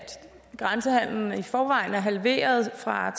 grænsehandelen i forvejen er blevet halveret fra